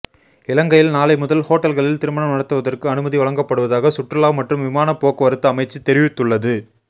இலங்கையில் நாளை முதல் ஹோட்டல்களில் திருமணம் நடத்துவதற்கு அனுமதி வழங்கப்படுவதாக சுற்றுலா மற்றும் விமான போக்குவரத்து அமைச்சு தெரிவித்துள்ளது